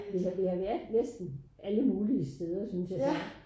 Vi har vi har været næsten alle mulige steder synes jeg